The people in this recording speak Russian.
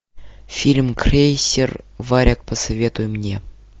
фильм крейсер варяг посоветуй мне